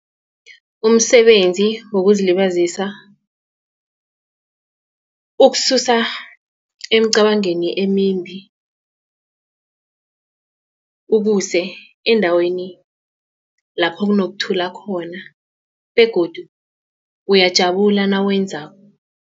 Umsebenzi wokuzilibazisa ukususa eemcabangweni emimbi ukuse endaweni lapho kunokuthula khona begodu uyajabula nawuwenzako.